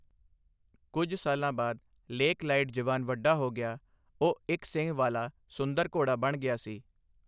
ਕੁੱਝ ਸਾਲਾਂ ਬਾਅਦ ਲੇਕ ਲਾਈਟਜਵਾਨ ਵੱਡਾ ਹੋ ਗਿਆ, ਉਹ ਇੱਕ ਸਿੰਙ ਵਾਲਾ ਸੁੰਦਰ ਘੋੜਾ ਬਣ ਗਿਆ ਸੀ।